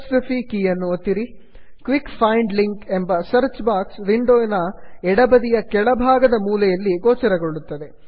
quick find link quick find links ಎಂಬ search box ವಿಂಡೋವಿನ ಎಡಬದಿಯ ಮೇಲ್ಭಾಗದ ಮೂಲೆಯಲ್ಲಿ ಗೋಚರಗೊಳ್ಳುತ್ತದೆ